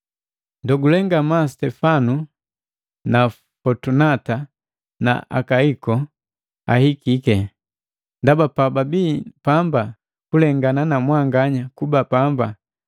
Ndogule ngamaa Sitefana na Fotunata na Akaiko ahikiki, ndaba pababii pamba kulengana na mwanganya kuba pamba.